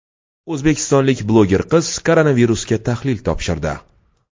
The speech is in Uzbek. O‘zbekistonlik bloger qiz koronavirusga tahlil topshirdi.